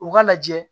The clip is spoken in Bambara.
U ka lajɛ